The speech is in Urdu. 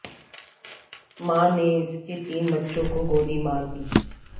ماں نے اس کے تین بچوں کو گولی مار دی